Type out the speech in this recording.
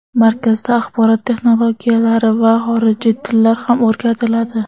Markazda axborot texnologiyalari va xorijiy tillar ham o‘rgatiladi.